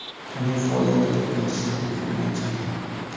uning faoliyatini tugatish taklifi bilan chiqdi.